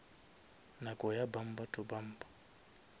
nako ya bumper to bumper